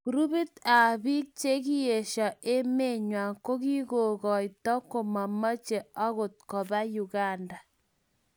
Grupit ab bik chikiesha emet nywan kokikakotai komamamche akot kopa Uganda.